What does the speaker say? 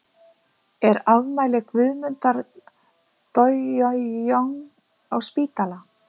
er afmæli guðmundar dojojong á spítala